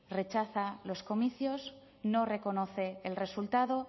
rechaza los comicios no reconoce el resultado